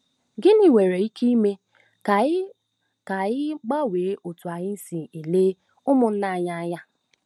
Gịnị nwere ike ime ka anyị ka anyị gbanwee otú anyị si ele ụmụnna anyị anya?